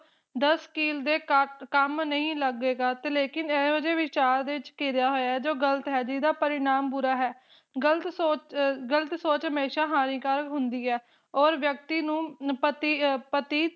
ਦੱਸਿਲ ਦੇ ਕੰਮ ਕੰਮ ਨਹੀਂ ਲਗੇਗਾ ਤੇ ਲੇਕਿਨ ਇਹੋ ਜਿਹੇ ਵਿਚਾਰ ਵਿਚ ਘਿਰਿਆ ਹੋਇਆ ਜੋ ਗਲਤ ਹੈ ਜਿਦਾ ਪਰਿਣਾਮ ਬੁਰਾ ਹੈ ਗਲਤ ਸੋਚ ਅ ਗਲਤ ਸੋਚ ਹਮੇਸ਼ਾ ਹਾਨੀਕਾਰਕ ਹੁੰਦੀ ਹੈ ਓਰ ਵਿਅਕਤੀ ਨੂੰ ਪਤੀ ਅ ਪਤੀ